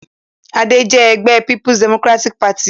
Adé jẹ́ ọmọ-ẹgbẹ́ Peoples Democratic Party.